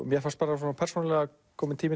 mér fannst bara persónulega kominn tími